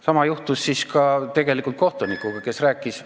Sama juhtus ka kohtunikuga, kes rääkis ...